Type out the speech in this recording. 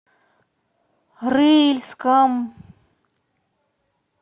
рыльском